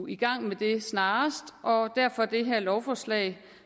i gang med det snarest og derfor det her lovforslag